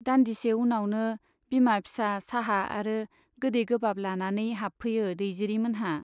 दान्दिसे उनावनो बिमा फिसा चाहा आरो गोदै गोबाब लानानै हाबफैयो दैजिरि मोनहा।